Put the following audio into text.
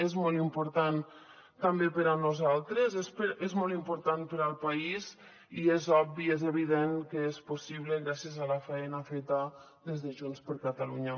és molt important també per a nosaltres és molt important per al país i és obvi és evident que és possible gràcies a la faena feta des de junts per catalunya